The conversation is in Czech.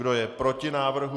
Kdo je proti návrhu?